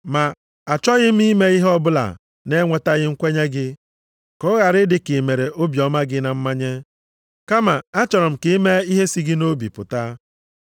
Ma, a chọghị m ime ihe ọbụla na-enwetaghị nkwenye gị, ka ọ ghara ịdị ka i mere obiọma gị na mmanye. Kama, achọrọ m ka i mee ihe si gị nʼobi pụta.